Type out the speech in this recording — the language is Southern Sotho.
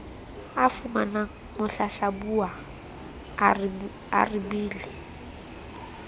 a fumanang mohlahlabuwa a arabile